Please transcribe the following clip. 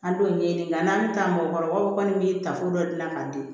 An don ɲini nka an bɛ taa mɔgɔkɔrɔbaw kɔni ye tafo dɔ dilan ka di